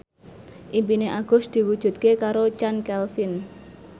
impine Agus diwujudke karo Chand Kelvin